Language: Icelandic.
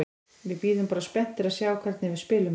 Við bíðum bara spenntir að sjá hvernig við spilum þetta.